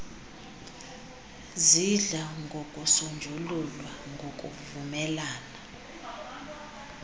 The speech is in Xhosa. zidla ngokusonjululwa ngokuvumelana